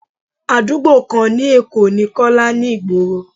Àdúgbò kan ni Èkó ni Kọ́lá ni ìgboro.